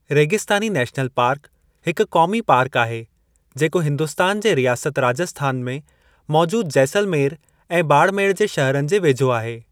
रेगिस्तानी national park हिकु क़ौमी पार्क आहे जेको हिन्दुस्तान जे रियासत राजस्थान में मौजूद जैसलमेर ऐं बाड़मेड़ जे शहरनि जे वेझो आहे